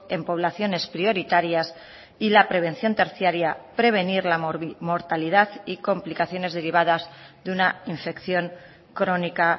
en poblaciones prioritarias y la prevención terciaria prevenir la mortalidad y complicaciones derivadas de una infección crónica